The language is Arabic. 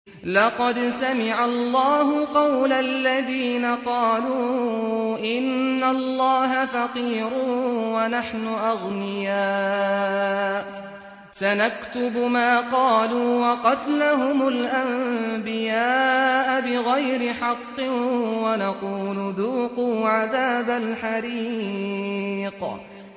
لَّقَدْ سَمِعَ اللَّهُ قَوْلَ الَّذِينَ قَالُوا إِنَّ اللَّهَ فَقِيرٌ وَنَحْنُ أَغْنِيَاءُ ۘ سَنَكْتُبُ مَا قَالُوا وَقَتْلَهُمُ الْأَنبِيَاءَ بِغَيْرِ حَقٍّ وَنَقُولُ ذُوقُوا عَذَابَ الْحَرِيقِ